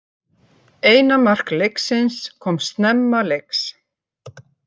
Eina mark leiksins koma snemma leiks